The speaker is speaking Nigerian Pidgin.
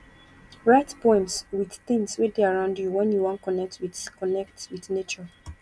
write poems wit tins wey dey around you wen you wan connect wit connect wit nature